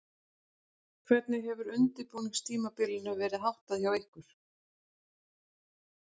Hvernig hefur undirbúningstímabilinu verið háttað hjá ykkur?